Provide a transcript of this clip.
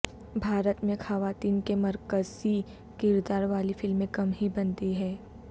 بھارت میں خواتین کے مرکزی کرداروں والی فلمیں کم ہی بنتی ہے